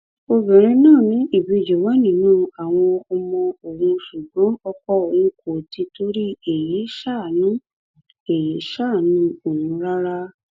obìnrin náà ní ìbejì wà nínú àwọn ọmọ òun ṣùgbọn ọkọ òun kò torí èyí ṣàánú èyí ṣàánú òun rárá